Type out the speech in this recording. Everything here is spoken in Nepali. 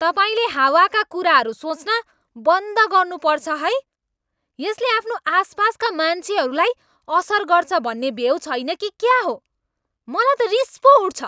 तपाईँले हावाका कुराहरू सोच्न बन्द गर्नुपर्छ है। यसले आफ्नो आसपासका मान्छेहरूलाई असर गर्छ भन्ने भेउ छैन कि क्या हो? मलाई त रिस पो उठ्छ।